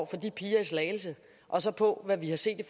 for de piger i slagelse og så på hvad vi har set i